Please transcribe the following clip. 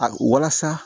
A walasa